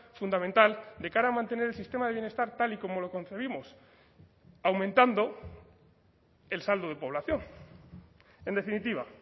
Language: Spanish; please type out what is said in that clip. fundamental de cara a mantener el sistema de bienestar tal y como lo concebimos aumentando el saldo de población en definitiva